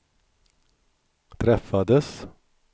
träffades